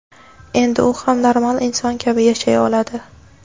Endi u ham normal inson kabi yashay oladi.